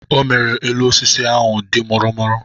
O mere elu osisi ahụ a dị mụrụ mụrụ.